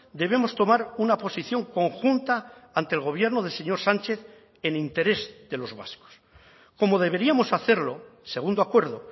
debemos tomar una posición conjunta ante el gobierno del señor sánchez en interés de los vascos como deberíamos hacerlo segundo acuerdo